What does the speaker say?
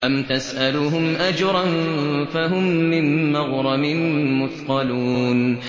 أَمْ تَسْأَلُهُمْ أَجْرًا فَهُم مِّن مَّغْرَمٍ مُّثْقَلُونَ